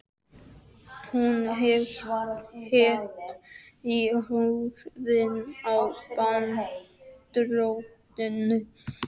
Hún hét í höfuðið á Danadrottningu.